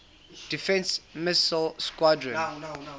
defense missile squadron